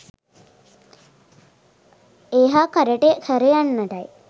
ඒ හා කරට කර යන්නටයි